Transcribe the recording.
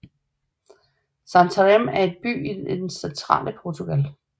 Santarém er en by i det centrale Portugal